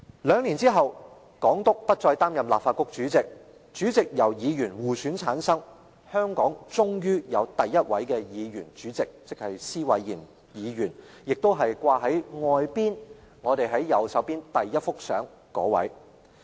兩年後，港督不再擔任立法局主席，主席由議員互選產生，香港終於有第一位議員主席——施偉賢議員，亦即掛在會議廳外的右方牆上的第一幅相中人。